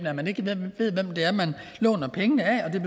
at man ikke ved hvem det er man låner pengene af det